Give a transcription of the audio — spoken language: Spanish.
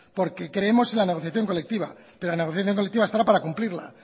porque creemos en la negociación colectiva pero la negociación colectiva estará para cumplirla